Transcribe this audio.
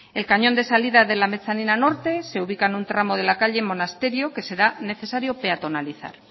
el cañón de salida de la mezanina norte se ubica en un tramo de la calle monasterio que será necesario peatonalizar